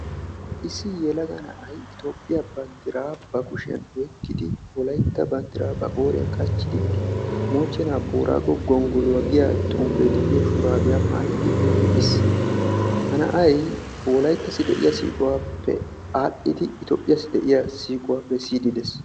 Issi yelaga a'ay toophphiyaa banddiraa ba kushshiyaan oyqqidi wolaytta banddiraa ba qooriyaan qachchidi moochchena booraago gonggoluwaa giyaa xuufee de'iyoo shuraabiyaa maayidi eqqiis. ha na'ay wolayttassi de'iyaa siiquwaappe aadhdhidi itoophphiyaassi de'iyaa siiquwaa bessiidi de'ees.